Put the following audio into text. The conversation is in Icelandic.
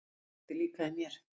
Það kveikti líka í mér.